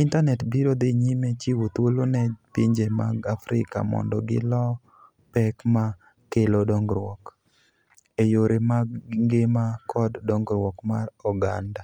intanet biro dhi nyime chiwo thuolo ne pinje mag Afrika mondo gilo pek ma kelo dongruok e yore mag ngima kod dongruok mar oganda.